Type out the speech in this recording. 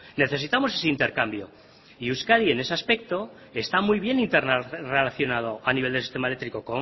necesitamos ese intercambio y euskadi en ese aspecto está bien interrelacionado a nivel de sistema eléctrico